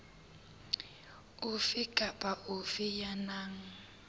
ofe kapa ofe ya nang